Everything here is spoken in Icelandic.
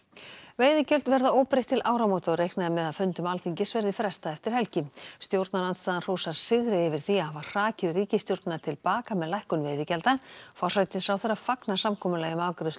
veiðigjöld verða óbreytt til áramóta og reiknað er með að fundum Alþingis verði frestað eftir helgi stjórnarandstaðan hrósar sigri yfir því að hafa hrakið ríkisstjórnina til baka með lækkun veiðigjalda forsætisráðherra fagnar samkomulagi um afgreiðslu